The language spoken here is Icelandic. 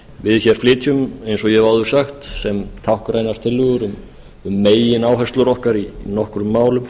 við hér flytjum eins og ég hef áður sagt sem táknrænar tillögur um megináherslur okkar í nokkrum málum